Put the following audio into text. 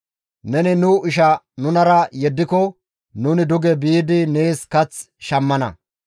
Neni nu ishaa nunara yeddiko nuni duge biidi nees kath shammana.